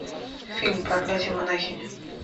фильм проклятие монахини